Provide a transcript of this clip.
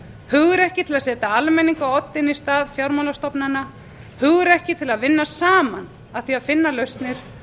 hugrekki til að setja almenning á oddinn í stað fjármálastofnana hugrekki til að vinna saman að því finna lausnir